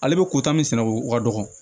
Ale bɛ kota min sɛnɛ o ka dɔgɔ